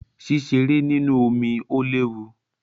Ṣíṣeré nínú omí o léwu.